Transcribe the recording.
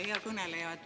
Hea kõneleja!